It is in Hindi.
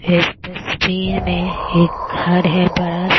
इस तस्वीर में एक घर है बड़ा सा --